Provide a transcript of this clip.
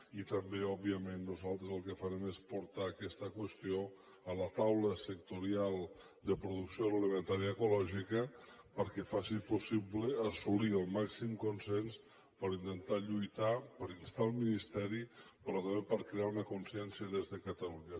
i també òbviament nosaltres el que farem serà portar aquesta qüestió a la taula sectorial de producció agroalimentària ecològica perquè faci possible assolir el màxim consens per intentar lluitar per instar el ministeri però també per crear una consciència des de catalunya